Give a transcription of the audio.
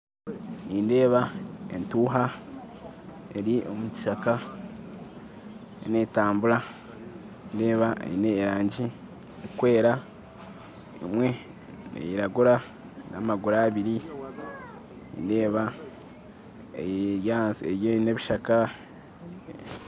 Nindeeba entuuha eri omu kishaka netambura nindeeba eine erangi erikwera emwe neyiragura n'amaguru abiri nindeeba eri haihi n'ebishaka